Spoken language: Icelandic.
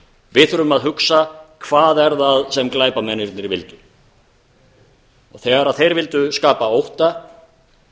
við þurfum að hugsa hvað er það sem glæpamennirnir vildu þegar þeir vildu skapa ótta